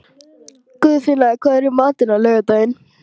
Guðfinna, hvað er í matinn á laugardaginn?